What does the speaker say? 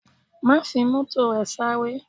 Má fi Mọ́tò rẹ sáré!